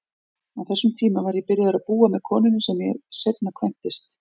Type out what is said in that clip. Á þessum tíma var ég byrjaður að búa með konunni sem ég seinna kvæntist.